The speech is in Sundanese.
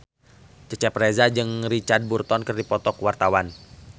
Cecep Reza jeung Richard Burton keur dipoto ku wartawan